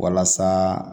Walasa